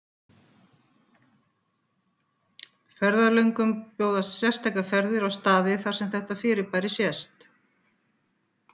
Ferðalöngum bjóðast sérstakar ferðir á staði þar sem þetta fyrirbæri sést.